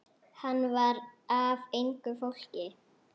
Hann var af engu fólki.